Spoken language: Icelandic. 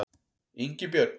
Ingibjörn